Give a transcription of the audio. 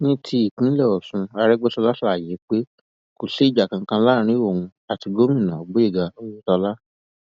ní ti ìpínlẹ ọṣun àrègbèsọlá ṣàlàyé pé kò sí ìjà kankan láàrin òun àti gomina gboyega oyetola